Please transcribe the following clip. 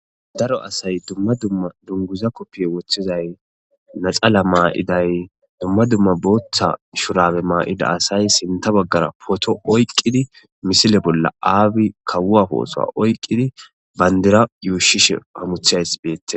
Daro asay dumma dumma dunguza koppiye woththizay naxala maa7iday dumma dumma booththa shurabe maa7ida asay sinta baggara poto oyqqidi misile bolla aabi kawuafoosoa oyqqidi bayndira yuushishe hamuthays beette.